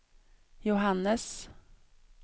Johannes